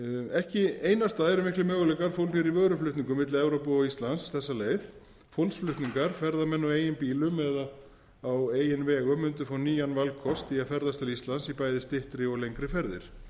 ekki einasta eru miklir möguleikar fólgnir í vöruflutningum milli evrópu og íslands þessa leið fólksflutningar ferðamenn á eigin bílum eða á eigin vegum mundu fá nýjan valkost í að ferðast til íslands í bæði styttri og lengri ferðir